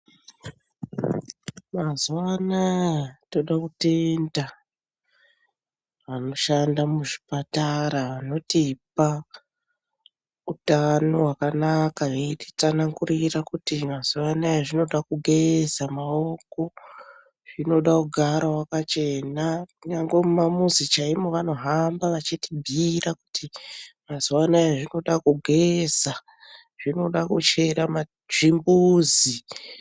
Mazuva anaya toda kutenda vanoshanda muzvipatara vanotipa hutano hwakanaka veititsanangurira kuti mazuva anaya zvinoda kugeza maoko, zvinoda kugara wakachena. Nyangwe mumamuzi chaimo vanohamba vachitibhuyira kuti mazuva anaya zvinoda kugeza, zvinoda kuchera ma..zvimbuzi.